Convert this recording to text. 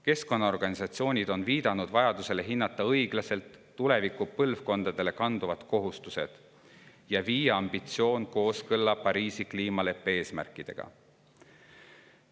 Keskkonnaorganisatsioonid on viidanud vajadusele hinnata õiglaselt tulevikupõlvkondadele kanduvaid kohustusi ja viia ambitsioon kooskõlla Pariisi kliimaleppe eesmärkidega.